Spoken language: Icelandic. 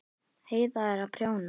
Heiða er að prjóna.